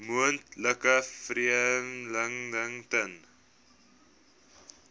moontlike vervreemding ten